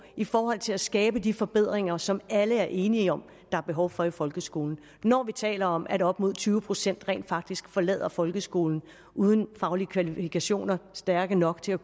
i forhold til at skabe de forbedringer som alle er enige om der er behov for i folkeskolen når vi taler om at op mod tyve procent rent faktisk forlader folkeskolen uden faglige kvalifikationer stærke nok til at